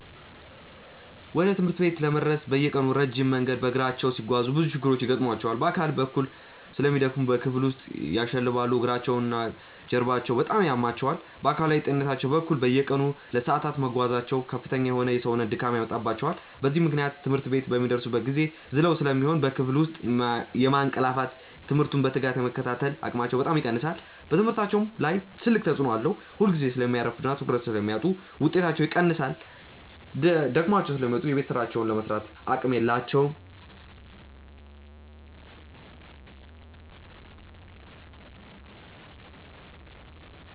ወደ ትምህርት ቤት ለመድረስ በየቀኑ ረጅም መንገድ በእግራቸው ሲጓዙ ብዙ ችግሮች ይገጥሟቸዋል። በአካል በኩል በጣም ስለሚደክሙ በክፍል ውስጥ ያሸልባሉ፤ እግራቸውና ጀርባቸውም በጣም ያማቸዋል። በአካላዊ ጤንነታቸው በኩል፣ በየቀኑ ለሰዓታት መጓዛቸው ከፍተኛ የሆነ የሰውነት ድካም ያመጣባቸዋል። በዚህም ምክንያት ትምህርት ቤት በሚደርሱበት ጊዜ ዝለው ስለሚሆኑ በክፍል ውስጥ የማንቀላፋትና ትምህርቱን በትጋት የመከታተል አቅማቸው በጣም ይቀንሳል። በትምህርታቸውም ላይ ትልቅ ተጽዕኖ አለው፤ ሁልጊዜ ስለሚያረፍዱና ትኩረት ስለሚያጡ ውጤታቸው ይቀንሳል። ደክሟቸው ስለሚመጡ የቤት ሥራቸውን ለመሥራትም አቅም የላቸውም።